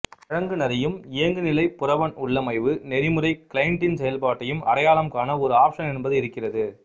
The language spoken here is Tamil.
வழங்குநரையும் இயங்குநிலை புரவன் உள்ளமைவு நெறிமுறை கிளைண்டின் செயல்பாட்டையும் அடையாளம் காண ஒரு ஆப்ஷன் என்பது இருக்கிறது